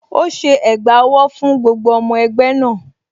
Ó ṣe ẹ̀gbà owó fún gbogbo ọmọ ẹgbẹ́ náà.